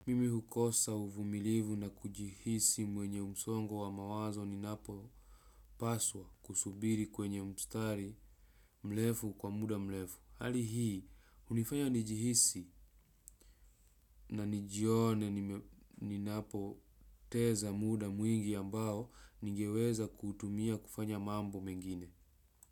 Mimi hukosa uvumilivu na kujihisi mwenye msongo wa mawazo ni napo paswa kusubiri kwenye mstari mrefu kwa muda mrefu. Hali hii, hunifanya nijihisi na nijione ninapo teza muda mwingi ambao ningeweza kutuumia kufanya mambo mengine.